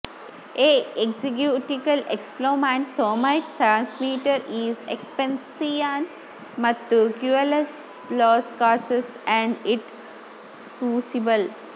ಈ executical explomant thomite trameter is exception ಮತ್ತು cueless loss cassas and it ಸ್ಯೂಸಿಬಲ್